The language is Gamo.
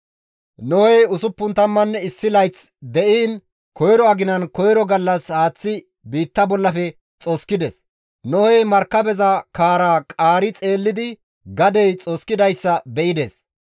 Nohey 601 layth de7iin koyro aginan koyro gallas haaththi biitta bollafe xoskides; Nohey markabeza kaaraa qaari xeellidi gadey xoskidayssa be7ides.